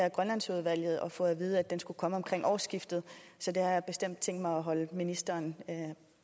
i grønlandsudvalget og fået at vide at den skulle komme omkring årsskiftet så det har jeg bestemt tænkt mig at holde ministeren